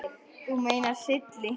Þú meinar Silli?